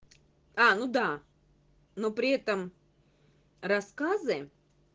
а ну да но при этом рассказы